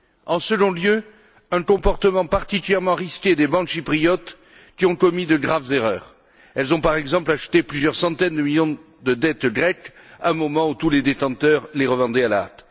En second lieu, un comportement particulièrement risqué des banques chypriotes qui ont commis de graves erreurs. Elles ont, par exemple, acheté plusieurs centaines de millions de dettes grecques à un moment où tous les détenteurs les revendaient à la hâte.